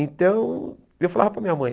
Então, eu falava para a minha mãe.